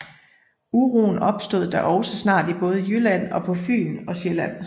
Uroen opstod da også snart i både Jylland og på Fyn og Sjælland